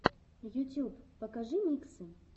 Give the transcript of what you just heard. ютюб покажи миксы